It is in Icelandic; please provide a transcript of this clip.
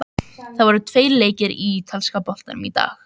Það voru tveir leikir í ítalska boltanum í dag.